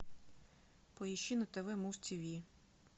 поищи на тв муз тв